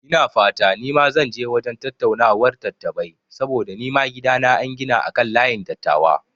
Ina fata nima zan je wajen tattaunawar dattabai saboda nima gidana an gina akan layin dattawa